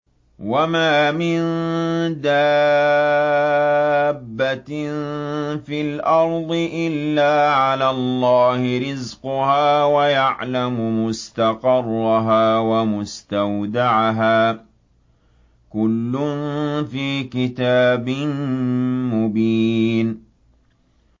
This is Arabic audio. ۞ وَمَا مِن دَابَّةٍ فِي الْأَرْضِ إِلَّا عَلَى اللَّهِ رِزْقُهَا وَيَعْلَمُ مُسْتَقَرَّهَا وَمُسْتَوْدَعَهَا ۚ كُلٌّ فِي كِتَابٍ مُّبِينٍ